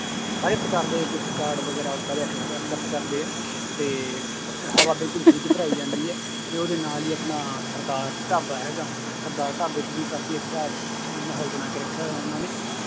ਸਾਰੇ ਪ੍ਰਕਾਰ ਦੇ gift card ਵਗ਼ੈਰਾ ਉਹ ਸਾਰੇ ਐਕਸੈਪ accept ਕਰਦੇ ਆ, ਤੇ ਹਵਾ ਬਿਲਕੁਲ free ਚ ਭਰਾਈ ਜਾਂਦੀ ਹੈ ਤੇ ਉਹਦੇ ਨਾਲ ਹੀ ਆਪਣਾ ਸਰਦਾਰ ਢਾਬਾ ਹੈਗਾ ਸਰਦਾਰ ਢਾਬੇ ਚ ਵੀ ਕਾਫ਼ੀ ਅੱਛਾ ਮਾਹੌਲ ਬਣਾ ਕੇ ਰੱਖਿਆ ਹੋਇਆ ਉਹਨਾਂ ਨੇ